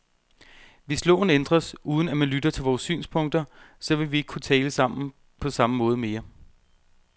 Hvis loven ændres, uden at man lytter til vores synspunkter, så vil vi ikke kunne tale sammen på samme måde mere.